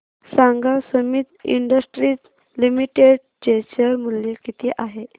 सांगा Sumeet Industries Limited चे share मूल्य किती आहे